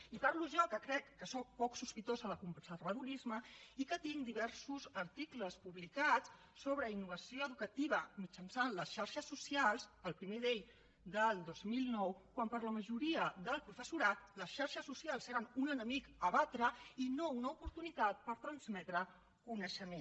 i parlo jo que crec que sóc poc sospitosa de conservadorisme i que tinc diversos articles publicats sobre innovació educativa mitjançant les xarxes socials el primer d’ells del dos mil nou quan per a la majoria del professorat les xarxes socials eren un enemic a batre i no una oportunitat per transmetre coneixement